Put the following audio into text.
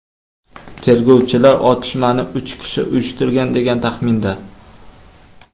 Tergovchilar otishmani uch kishi uyushtirgan, degan taxminda.